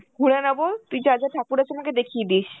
ঘুরে নেব, তুই যা যা ঠাকুর আছে আমাকে দেখিয়ে দিস.